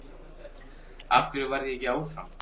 Af hverju varð ég ekki áfram?